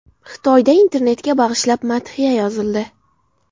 Xitoyda internetga bag‘ishlab madhiya yozildi.